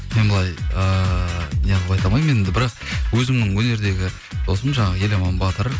мен былай ыыы неғып айта алмаймын енді бірақ өзімнің өнердегі досым жаңағы еламан батыр